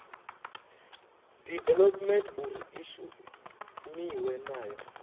development uri i shumiwe nayo